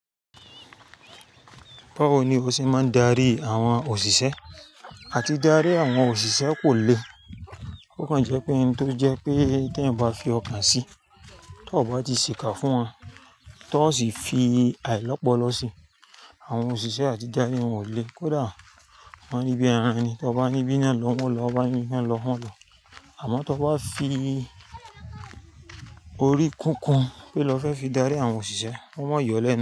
Báwo ni o ṣe máa ń darí àwọn òṣìṣẹ́? Áti darí àwọn òṣìṣẹ́ kò le. Ó kan jẹ́ pé ẹni tó jẹ́ pé tí ẹ̀ ń bá fi ọkàn sí i, tí ó bá ti sìkà fún wọn, tí wọ́n sì fi àìlọ́po lọ sí i, àwọn òṣìṣẹ́ àti darí wọn ò le. Kódà wọ́n níbí ẹran ni, tí o bá ní bí iná lọ wọ́n lọ, tí o bá ní iná lọ wọ́n lọ. Àmọ́ tí o bá fi orí kúkún pé lọ fẹ́ fi darí àwọn òṣìṣẹ́, wọ́n máa yọ̀ ọ́ lẹ́nu.